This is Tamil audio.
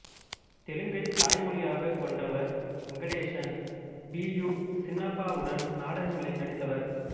தெலுங்கைத் தாய்மொழியாகக் கொண்டவர் வெங்கடேசன் பி யு சின்னப்பாவுடன் நாடகங்களில் நடித்தவர்